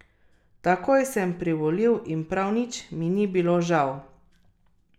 Takoj sem privolil in prav nič mi ni bilo žal.